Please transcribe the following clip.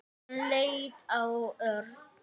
Hann leit á Örn.